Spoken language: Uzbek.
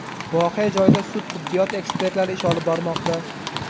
Voqea joyida sud-tibbiyot ekspertlari ish olib bormoqda.